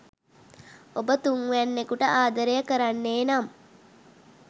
ඔබ තුන්වැන්නකුට ආදරය කරන්නේ නම්